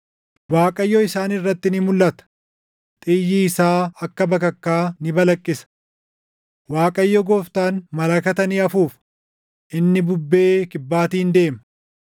Waaqayyo isaan irratti ni mulʼata; xiyyi isaa akka bakakkaa ni balaqqisa. Waaqayyo Gooftaan malakata ni afuufa; inni bubbee kibbaatiin deema;